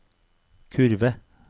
kurve